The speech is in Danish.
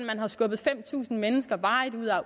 man har skubbet fem tusind mennesker